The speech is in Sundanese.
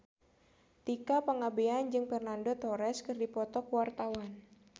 Tika Pangabean jeung Fernando Torres keur dipoto ku wartawan